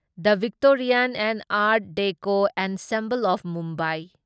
the Victorian and art deco ensemble of Mumbai